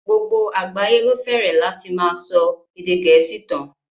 Gbogbo àgbáyé ló fẹ́rẹ̀ láti máa ṣọ èdè gẹ̀ẹ́sì tán.